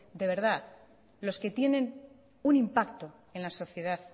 de verdad los que tienen un impacto en la sociedad